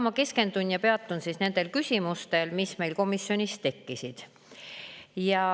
Ma peatun küsimustel, mis meil komisjonis tekkisid, ja keskendun nendele.